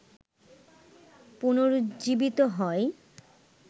পুনরুজ্জীবিত হয়